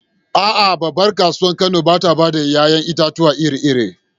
A’a, babbar kasuwar Kano ba ta bayar da ‘ya’yan itatuwa iri-iri.